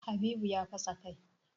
Habibu ya fasa kai.